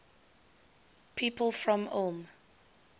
people from ulm